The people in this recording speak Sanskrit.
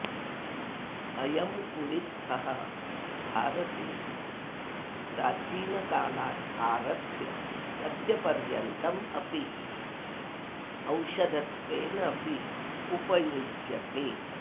अयं कुळित्थः भारते प्रचीनकालात् आरभ्य अद्यपर्यन्तम् अपि औषधत्वेन अपि उपयुज्यते